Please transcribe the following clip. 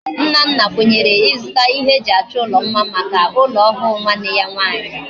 Nnanna kwenyere izuta ihe eji acho ulo mma Maka ulo ohu nwanne ya nwanyi